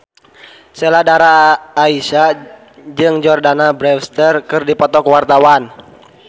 Sheila Dara Aisha jeung Jordana Brewster keur dipoto ku wartawan